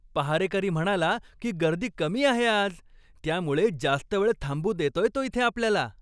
पहारेकरी म्हणाला की गर्दी कमी आहे आज. त्यामुळे जास्त वेळ थांबू देतोय तो इथे आपल्याला.